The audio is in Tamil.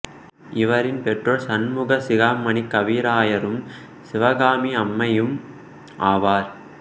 இவரின் பெற்றோர் சண்முக சிகாமணிக் கவிராயரும் சிவகாமி அம்மையும் ஆவர்